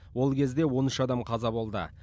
ол кезде он үш адам қаза болды